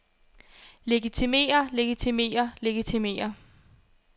legitimerer legitimerer legitimerer